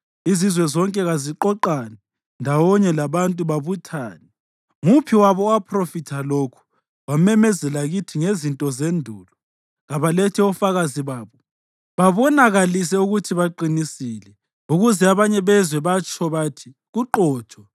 Izizwe zonke kaziqoqane ndawonye labantu babuthane. Nguphi wabo owaphrofitha lokhu wamemezela kithi ngezinto zendulo? Kabalethe ofakazi babo babonakalise ukuthi baqinisile, ukuze abanye bezwe, batsho bathi, “Kuqotho.”